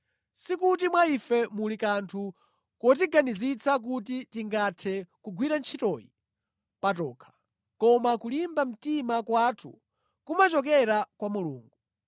Sikuti mwa ife muli kanthu kotiganizitsa kuti tingathe kugwira ntchitoyi patokha, koma kulimba mtima kwathu kumachokera kwa Mulungu.